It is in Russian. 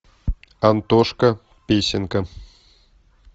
антошка песенка